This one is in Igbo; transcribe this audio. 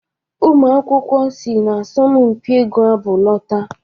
Ụmụ akwụkwọ si n'asọmpi ịgụ abụ lọta